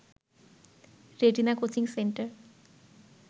retina coaching centre